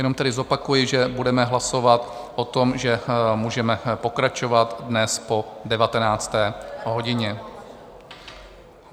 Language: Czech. Jenom tedy zopakuji, že budeme hlasovat o tom, že můžeme pokračovat dnes po 19. hodině.